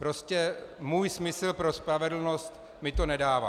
Prostě můj smysl pro spravedlnost mi to nedává.